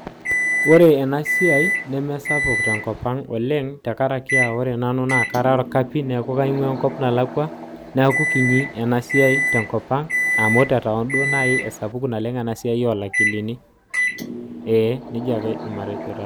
Ore enasiai nemesapuk tenkopang oleng tenkaraki ore nanu aa kara orkapi amu kaingwaa enkop nalakwa niaku kinyi enasiai tenkopang amu tetown duo nai esapuku enasiai olakilini.